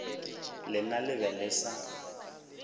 lena le be le sa